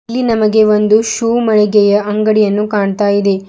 ಇಲ್ಲಿ ನಮಗೆ ಒಂದು ಶೋ ಮಳಿಗೆಯ ಅಂಗಡಿಯನ್ನು ಕಾಣ್ತಾ ಇದೆ.